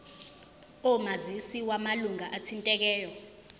omazisi wamalunga athintekayo